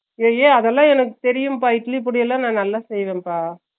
ஏய் ஏய் அதுல்லாம் எனக்கு தெரியும்பா இட்லி பொடியெல்லாம் நா நல்ல செய்வேன்பா